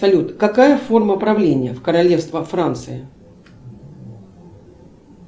салют какая форма правление в королевство франция